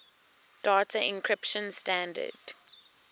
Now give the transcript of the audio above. data encryption standard